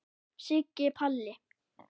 Siggi Palli.